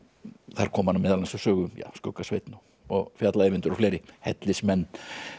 þar koma meðal annars við sögu skugga Sveinn og fjalla Eyvindur og fleiri hellismenn